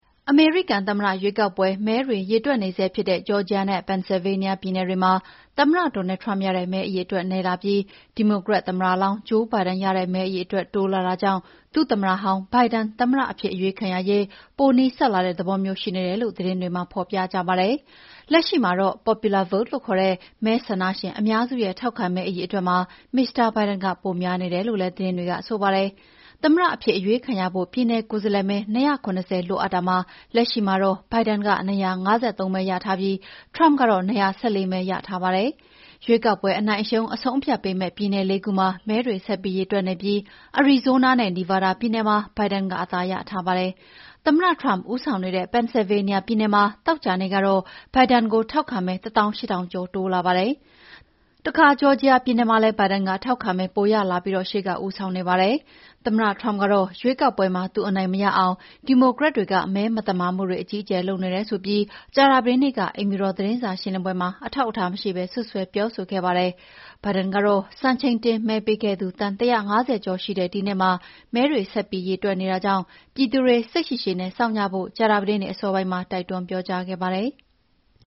အမေရိကန်သမ္မတရွေးကောက်ပွဲ မဲတွေရေတွက်နေဆဲဖြစ်တဲ့ ဂျော်ဂျီယာနဲ့ ပန်ဆယ်လ်ဗေးနီးယားပြည်နယ်တွေမှာ သမ္မတ Donald Trump ထက် ဒီမိုကရက်သမ္မတလောင်း Joe Biden ရတဲ့ မဲအရေအတွက် တိုးလာတာကြောင့် ဒုသမ္မတဟောင်း Biden သမ္မတအဖြစ်အရွေးခံရရေး ပိုနီးစပ်လာတဲ့သဘောမျိုး ရှိနေတယ်လို့ သတင်းတွေမှာ ဖော်ပြကြပါတယ်။ လက်ရှိမှာတော့ popular vote လို့ခေါ်တဲ့ မဲဆန္ဒရှင်အများစုရဲ့ ထောက်ခံမဲ အရေအတွက်မှာ မစ္စတာဘိုင်ဒန်က ပိုများနေတယ်လို့လည်း သတင်းတွေကဆိုပါတယ်။ သမ္မတအဖြစ်အရွေးခံရဖို့ ပြည်နယ်ကိုယ်စားလှယ်မဲ ၂၇၀ လိုအပ်တာမှာ လက်ရှိမှာတော့ Biden က ၂၅၃ မဲရထားပြီး Trump ကတော့ ၂၁၄ မဲရထားပါတယ်။ ရွေးကောက်ပွဲအနိုင်အရှုံးအဆုံးအဖြတ်ပေမဲ့ ပြည်နယ် ၄ ခုမှာ မဲတွေ ဆက်ပြီးရေတွက်နေပြီး အရီဇိုးနားနဲ့ နီဗားဒါးပြည်နယ်မှာ Biden က အသာရထားပါတယ်။ သမ္မတ Trump ဦးဆောင်နေတဲ့ ပန်ဆယ်လ်ဗေးနီးယားပြည်နယ်မှာ သောကြာနေ့ကတော့ Biden ကိုထောက်ခံမဲ ၁၈,၀၀၀ ကျော်တိုးလာပါတယ်။ တခါ ဂျော်ဂျီယာပြည်နယ်မှာလည်း Biden ကထောက်ခံမဲ ပိုရလာပြီးရှေ့က ဦးဆောင်နေပါတယ်။ သမ္မတ Trump ကတော့ ရွေးကောက်ပွဲမှာ သူအနိုင်မရအောင် ဒီမိုကရက်တွေက မဲမသမာမှုတွေ အကြီးအကျယ်လုပ်နေတယ်ဆိုပြီး ကြာသပတေးနေ့က အိမ်ဖြူတော်သတင်းစာရှင်းလင်းပွဲမှာ အထောက်အထားမရှိဘဲ စွပ်စွဲပြောဆိုခဲ့ပါတယ်။ Biden ကတော့ စံချိန်တင်မဲပေးခဲ့သူ သန်း ၁၅၀ ကျော်ရှိတဲ့ဒီနှစ်မှာ မဲတွေဆက်ပြီးရေတွက်နေတာကြောင့် ပြည်သူတွေစိတ်ရှည်ရှည်နဲ့ စောင့်ကြဖို့ ကြာသပတေးနေ့အစောပိုင်းမှာ တိုက်တွန်းပြောကြားခဲ့ပါတယ်။